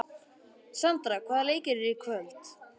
Sandra, hvaða leikir eru í kvöld?